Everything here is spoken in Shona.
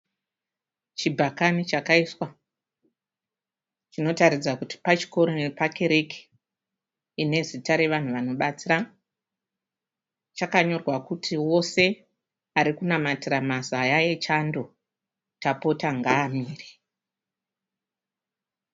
Chibhakani chakaiswa chinotaridza kuti pachikoro nepakereke ine zita ravanhu vanobatsira. Chakanyorwa kuti wose ari kunamatira mazaya echando tapota ngaamire.